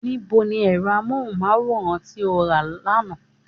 Ní bo ni ẹ̀rọ amóhùnmáwòrán tí o rà lánàá?